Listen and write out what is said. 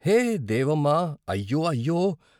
హే దేవమ్మ అయ్యో! అయ్యో!